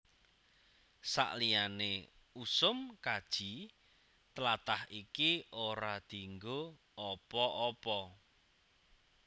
Saliyané usum kaji tlatah iki ora dianggo apa apa